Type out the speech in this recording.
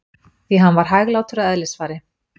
Því hann var hæglátur að eðlisfari.